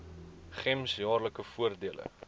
gems jaarlikse voordele